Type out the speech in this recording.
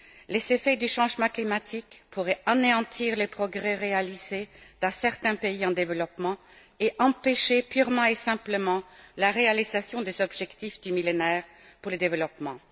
Les effets du changement climatique pourraient anéantir les progrès réalisés dans certains pays en développement et empêcher purement et simplement la réalisation des objectifs du Millénaire pour le développement.